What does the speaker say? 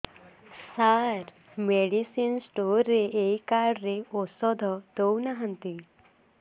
ସାର medicine store ରେ ଏଇ card ରେ ଔଷଧ ଦଉନାହାନ୍ତି